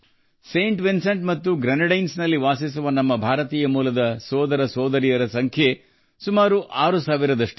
Saint Vincent and ಗ್ರೆನಡೈನ್ಸ್ನಲ್ಲಿ ವಾಸಿಸುವ ಭಾರತೀಯ ಮೂಲದ ನಮ್ಮ ಸಹೋದರ ಸಹೋದರಿಯರ ಸಂಖ್ಯೆಯೂ ಸುಮಾರು 6 ಸಾವಿರ ಇದೆ